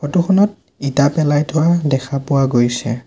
Photo খনত ইটা পেলাই থোৱা দেখা পোৱা গৈছে।